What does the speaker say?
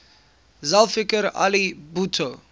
zulfikar ali bhutto